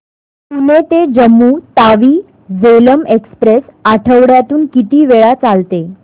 पुणे ते जम्मू तावी झेलम एक्स्प्रेस आठवड्यातून किती वेळा चालते